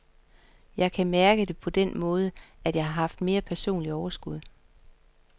Jeg kan mærke det på den måde, at jeg har haft mere personligt overskud.